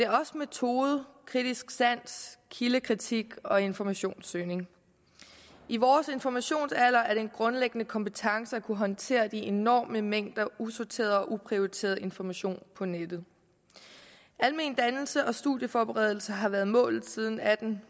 også metode kritisk sans kildekritik og informationssøgning i vores informationsalder er det en grundlæggende kompetence at kunne håndtere de enorme mængder usorteret og uprioriteret information på nettet almen dannelse og studieforberedelse har været målet siden atten